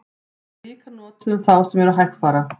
hún er líka notuð um þá sem eru hægfara